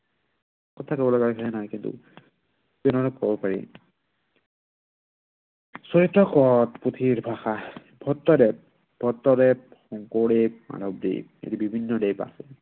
কথা কব লগা হয়। যেনে ধৰণে কব পাৰি। চৰিত হল পুথিৰ ভাষা। ভট্টদেৱ। ভট্টদেৱ শংকৰদেৱ, মাধৱদেৱ আদি বিভিন্ন দেৱ আছে।